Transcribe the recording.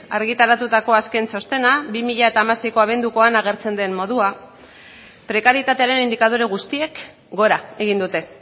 argitaratutako azken txostena bi mila hamaseiko abendukoan agertzen den moduan prekarietatearen indikadore guztiek gora egin dute